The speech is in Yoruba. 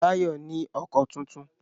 Báyọ̀ ní ọkọ tuntun